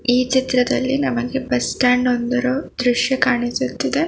ಈ ಚಿತ್ರದಲ್ಲಿ ನಮಗೆ ಬಸ್ ಸ್ಟ್ಯಾಂಡ್ ಒಂದರ ದೃಶ್ಯ ಕಾಣಿಸುತ್ತಿದೆ.